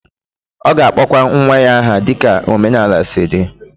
Ọ ga-akpọkwa nwa ya aha dịka omenala si dị.